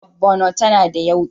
Miyar Ogbono tana da yauƙi.